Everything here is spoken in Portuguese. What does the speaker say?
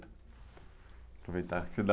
Aproveitar que dá.